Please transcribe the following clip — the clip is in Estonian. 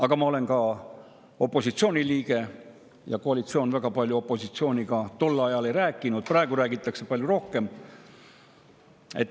Aga ma olen opositsiooni liige ja koalitsioon tol ajal opositsiooniga väga palju ei rääkinud, praegu räägitakse palju rohkem.